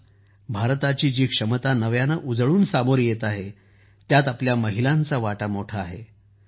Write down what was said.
आज जी भारताची क्षमता नव्याने उजळून सामोरी येत आहे त्यात आपल्या महिलांचा मोठा वाटा आहे